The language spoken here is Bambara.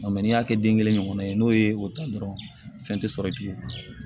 n'i y'a kɛ den kelen kɔnɔ n'o ye o ta dɔrɔn fɛn tɛ sɔrɔ i b'o